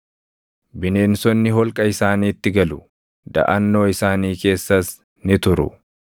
Bineensonni holqa isaaniitti galu; daʼannoo isaanii keessas ni turu.